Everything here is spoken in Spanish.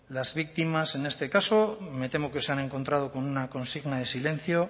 las víctimas en este caso me temo que se han encontrado con una consigna de silencio